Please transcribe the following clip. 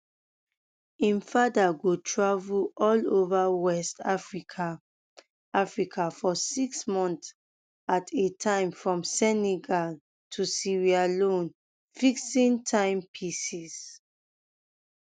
im father go travel all over west um africa africa for six months at a time from senegal to sierra leone fixing um timepieces